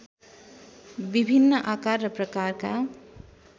विभिन्न आकार र प्रकारका